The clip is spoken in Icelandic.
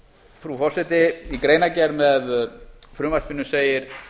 frú forseti í greinargerð með frumvarpinu segir